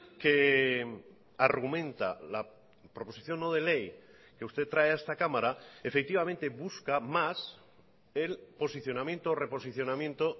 que argumenta la proposición no de ley que usted trae a esta cámara efectivamente busca más el posicionamiento o reposicionamiento